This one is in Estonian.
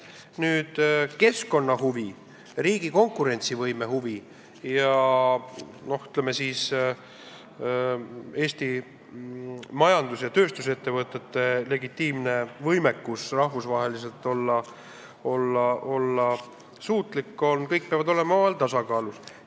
Nüüd, keskkonnahuvid, riigi konkurentsivõime huvid ja, ütleme siis, Eesti tööstusettevõtete huvid olla rahvusvaheliselt suutlik – need peavad olema tasakaalus.